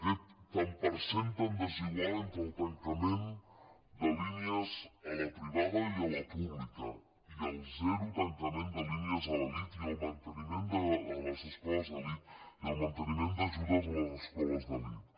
aquest tant per cent tan desigual entre el tancament de línies a la privada i a la pública i el zero tancament de línies a les escoles d’elit i el manteniment d’ajudes a les escoles d’elit